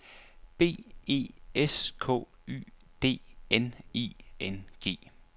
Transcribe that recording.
B E S K Y D N I N G